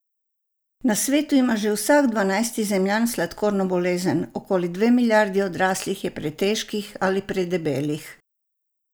Na svetu ima že vsak dvanajsti Zemljan sladkorno bolezen, okoli dve milijardi odraslih je pretežkih ali predebelih.